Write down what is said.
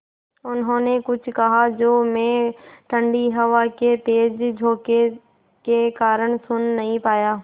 उन्होंने कुछ कहा जो मैं ठण्डी हवा के तेज़ झोंके के कारण सुन नहीं पाया